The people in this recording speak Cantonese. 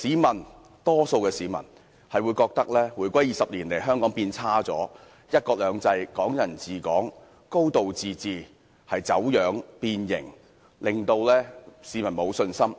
大多數市民均覺得回歸20年來，香港變差了，"一國兩制"、"港人治港"、"高度自治"已走樣變形，令市民沒有信心。